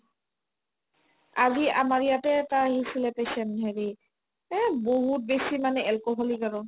আজি আমাৰ ইয়াতে এটা আহিছিলে patient হেৰি এহ্ বহুত বেছি মানে alcoholic আৰু